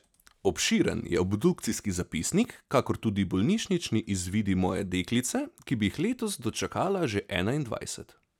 Obširen je obdukcijski zapisnik kakor tudi bolnišnični izvidi moje deklice, ki bi jih letos dočakala že enaindvajset.